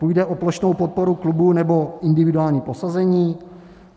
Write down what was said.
Půjde o plošnou podporu klubů, nebo individuální prosazení?